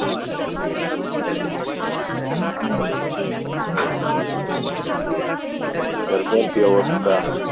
তারপর কী অবস্থা?